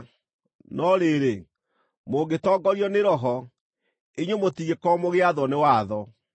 No rĩrĩ, mũngĩtongorio nĩ Roho, inyuĩ mũtingĩkorwo mũgĩathwo nĩ watho.